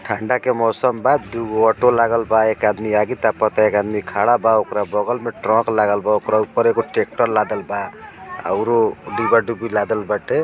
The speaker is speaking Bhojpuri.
ठंडक के मॉसम बा दो गो ऑटो लागलवा एक आदमी आगे तापत बा खड़ाबा बगल मे ट्रक लागलवा ऊपर एक ट्रैक्टर लागलवा औरो डिबा डूबी लागल बाटे।